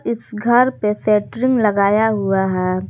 इस घर पे सेस्ट्रिंग लगाया हुआ है।